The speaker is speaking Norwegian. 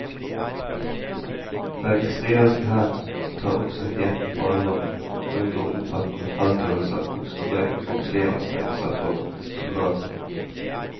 Den israelske hær tar også heten på alvor, og unngår omfattende feltøvelser og store kroppslige anstrengelser for soldatene.